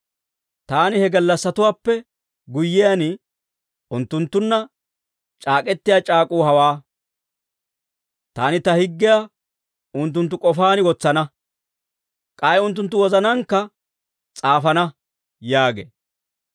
«Taani he gallassatuwaappe guyyiyaan, unttunttunna c'aak'k'etiyaa c'aak'uu hawaa: Taani ta higgiyaa unttunttu k'ofaan wotsana; k'ay unttunttu wozanaankka s'aafana» yaagee.